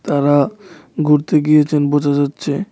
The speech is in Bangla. তারা ঘুরতে গিয়েছেন বোঝা যাচ্ছে।